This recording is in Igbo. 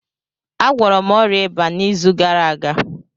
Agwọrọ m ọrịa ịba m n'izu gara aga